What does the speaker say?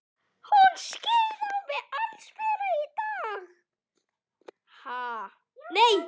Hún skein á mig allsbera í dag.